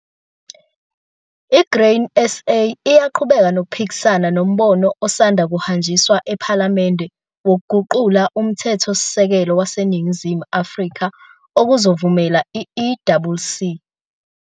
I-Grain SA iyaqhubeka nokuphikisana nombono osanda kuhanjiswa ephalamende wokuguqula uMthethosisekelo waseNingizimu Afrika okuzovumela i-EWC.